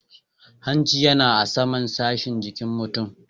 Hanci yana a saman sashin jikin mutum.